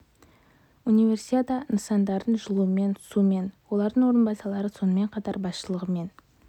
универсиада нысандарын жылумен сумен электрэнергиясымен және басқа да коммуналдық қызметпен толық қамту ісіне тәулігіне бірнеше рет